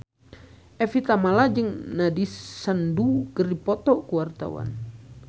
Evie Tamala jeung Nandish Sandhu keur dipoto ku wartawan